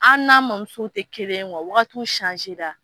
An n'a mɔn muso tɛ kelen wa waagatiw